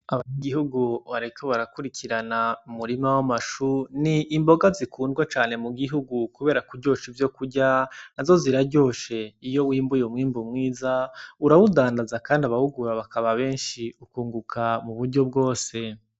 Abantu igihugu bariko barakurikirana umurima w' amashu ni imboga zikundwa mu gihugu kubera kuryosha ivyokurya nazo ziraryoshe iyo wimbuye umwimbu mwiza urawudandaza kandi abawugura bakaba benshi ukunguka mu buryo bwose.